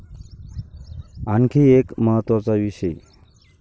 आणखी एक महत्त्वाचा विषय.